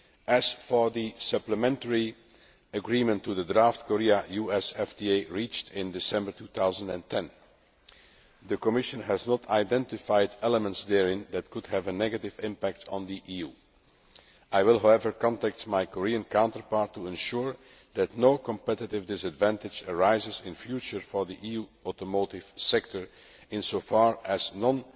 efforts. As for the supplementary agreement to the draft Korea US FTA reached in December 2010, the Commission has not identified elements therein that could have a negative impact on the EU. I will, however, contact my Korean counterpart to ensure that no competitive disadvantage arises in future for the EU automotive sector insofar